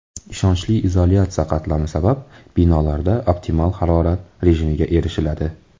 Ishonchli izolyatsiya qatlami sabab binolarda optimal harorat rejimiga erishiladi.